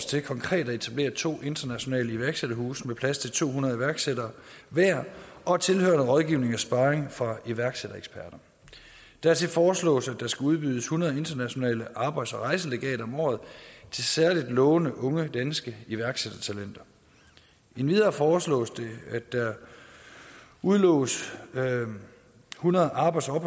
til konkret at etablere to internationale iværksætterhuse med plads til to hundrede iværksættere hver og tilhørende rådgivning og sparring fra iværksættereksperter dertil foreslås at der skal udloddes hundrede internationale arbejds og rejselegater om året til særlig lovende unge danske iværksættertalenter endvidere foreslås det at der udloves hundrede arbejds og